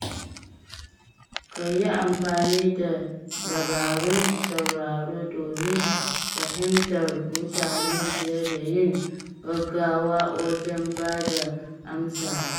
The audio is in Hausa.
Ka yi amfani da dabarun sauraro domin fahimtar mutane fiye da yin gaggawa wajen bada amsawa.